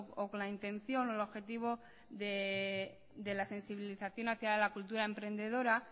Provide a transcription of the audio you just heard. o con la intención o el objetivo de la sensibilización hacia la cultura emprendedora